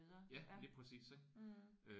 Ja lige præcis ik